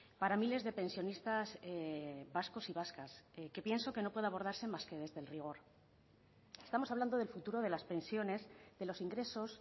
para miles de pensionistas vascos y vascas que pienso que no puede abordarse más que desde el rigor estamos hablando del futuro de las pensiones de los ingresos